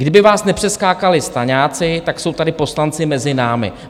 Kdyby vás nepřeskákali staňáci, tak jsou tady poslanci mezi námi.